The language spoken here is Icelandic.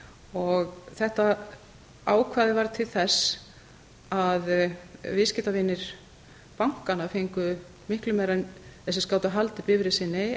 og þetta ákvæði varð til þess að viðskiptavinir bankanna fengu mæli meira þeir sem sagt gátu haldið bifreið sinni